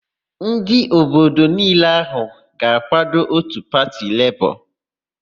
Ndị obodo niile ahụ ga-akwado òtù pati Lebọọ.